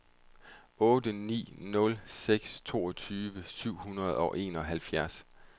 otte ni nul seks toogtyve syv hundrede og enoghalvfjerds